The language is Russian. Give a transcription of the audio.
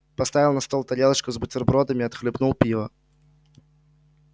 поставил на стол тарелочку с бутербродами отхлебнул пива